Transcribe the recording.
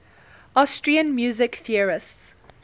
austrian music theorists